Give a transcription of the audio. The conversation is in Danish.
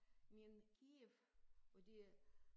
Men Kyiv og det er